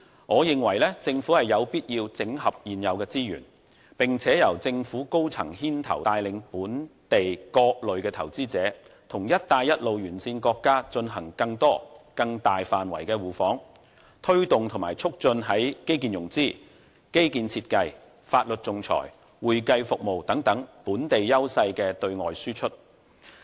我認為政府有必要整合現有資源，並由政府高層牽頭帶領本地各類投資者與"一帶一路"沿線國家進行更多更大範圍的互訪，推動和促進在基建融資、基建設計、法律仲裁、會計服務等本地優勢的對外輸出。